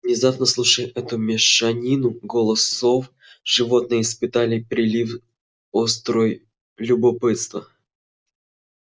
внезапно слушая эту мешанину голосов животные испытали прилив острой любопытства